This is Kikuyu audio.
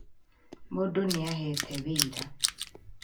Mũndũ nĩ aheete wĩra